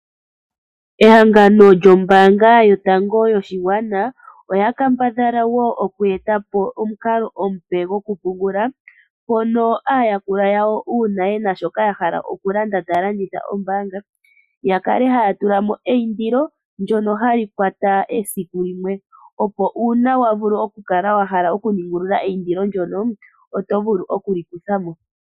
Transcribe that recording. Ehangano lyombaanga yotango yoshigwana oya kambadhala woo oku etapo omukalo omupe gwokupungula, mpono aayakulwa yawo uuna yena shoka ya hala okulanda taya longitha ombaanga ya kale haya tulamo eindulo ndono hali kwata esiku limwe, opo uuna wakala wahala oku ningulula eindilo ndono otovulu okulikuthamo.